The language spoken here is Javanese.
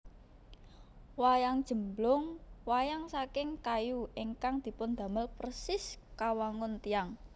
Wayang Jemblung Wayang saking kayu ingkang dipundamel persis kawangun tiyang